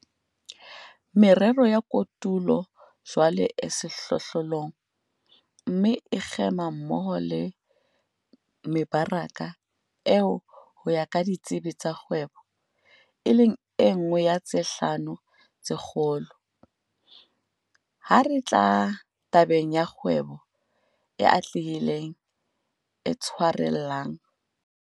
Merero ya kotulo jwale e sehlohlolong, mme e kgema mmoho le mebaraka eo ho ya ka ditsebi tsa kgwebo, e leng e nngwe ya tse hlano tse kgolo, ha re tla tabeng ya kgwebo e atlehileng, e tshwarellang.